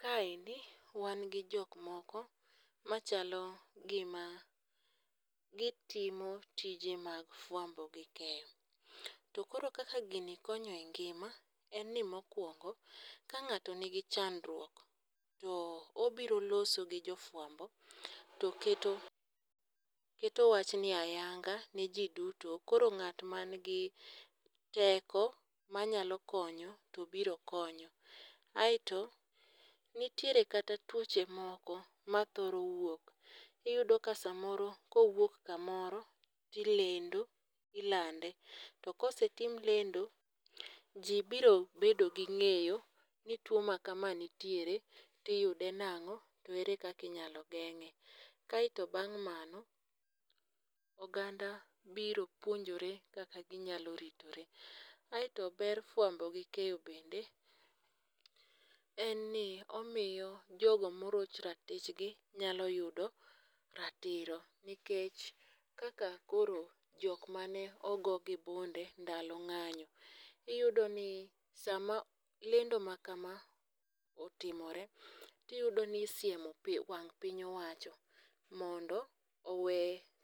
Kaendi wan gi jok moko machalo gima gitimo tije mag fwambo gi keyo, to koro kaka gini konyo e ngima en ni mokwongo ka ng'ato nigi chandruok to, obiro loso gi jofwambo to keto wachni ayanga ne ji duto koro ng'at manigi teko mayalo konyo to biro konyo, aeto nitiere kata tuoche moko mathoro wuok, iyudo ka samoro kowuok kamoro, tilendo, ilande to kosetim lendo, ji biro bedo gi ng'eyo ni tuwo makama nitiere tiyude nang'o to ere kaka inyalo geng'e, kaeto bang' mano oganda biro puonjore kaka ginyalo ritore, aeto ber fwambo gi keyo bende en ni omiyo jogo moroch ratichgi nyalo yudo ratiro nikech kaka koro jok mane ogo gi bunde ndalo ng'anyo, iyuydo ni sama lendo ma kama otimore, tiyudo ni isiemo wang' piny owacho mondo owe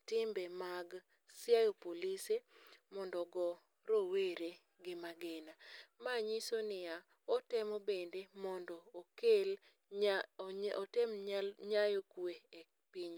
timbe mag siayo polise mondo ogo rowere gi magina, ma nyiso ni ya, otemo bende mondo otem nyayo kwe e piny.